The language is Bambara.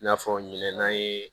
I n'a fɔ ɲinɛ